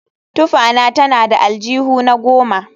Tufana tana da aljihuna goma